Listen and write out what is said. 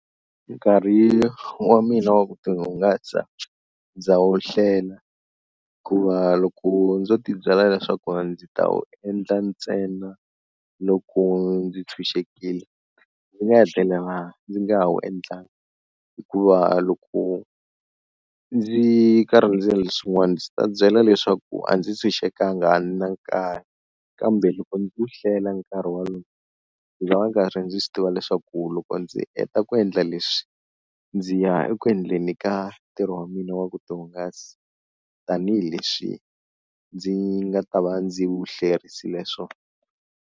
Nkarhi wa mina wa ku ti hungasa ndza wu hlela hikuva loko ndzo ti byela leswaku ndzi ta wu endla ntsena loko ndzi tshunxekile, ndzi nga hetelela ndzi nga ha wu endlangi hikuva loko ndzi karhi ndzi ta byela leswaku a ndzi tshunxekanga a ni na nkarhi, kambe loko ndzi wu hlela nkarhi walowo ndzi ta va karhi ndzi swi tiva leswaku loko ndzi ndzi heta ku endla leswi ndzi ya eku endleni ka ntirho wa mina wa ku ti hungasa tanihileswi ndzi nga ta va ndzi wu hlerisile swona.